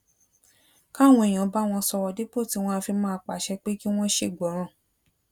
káwọn èèyàn bá wọn sòrò dípò tí wón á fi máa pàṣẹ pé kí wón ṣègbọràn